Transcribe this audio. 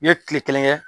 N ye kile kelen kɛ